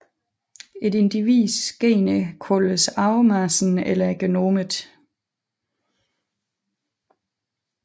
Et individs gener kaldes arvemassen eller genomet